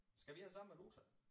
Skal vi have samme valuta